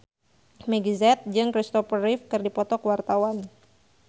Meggie Z jeung Kristopher Reeve keur dipoto ku wartawan